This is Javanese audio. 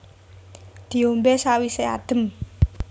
Diombé sawisé adem